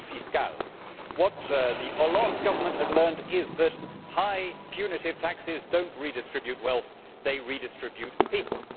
What the Hollande government had learned is that high punitive taxes do not redistribute wealth they redistribute people.